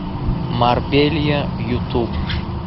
марбелья ютуб